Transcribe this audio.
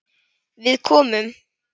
Við komum.